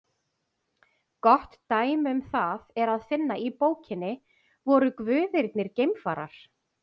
Gott dæmi um það er að finna í bókinni Voru guðirnir geimfarar?